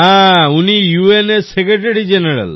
হ্যাঁ উনি ইউএন এর সেক্রেটারি General